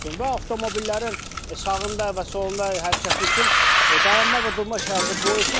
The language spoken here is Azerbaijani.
Və avtomobillərin sağında və solunda hərəkəti üçün dayanma və durma işarəsi qoyulsun.